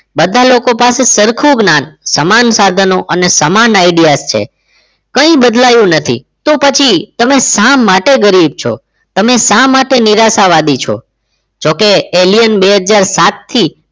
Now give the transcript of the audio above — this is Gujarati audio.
બધા જ લોકો પાસે સરખું જ જ્ઞાન સમાન સાધનો અને સમાન ideas જ છે કંઈ બદલાયું નથી તો પછી તમે શા માટે ગરીબ છો તમે શા માટે નિરાશાવાદી છો જોકે alien બે હજાર સાત થી